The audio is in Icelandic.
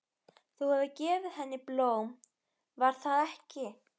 Þú hefur gefið henni blóm, var það ekki?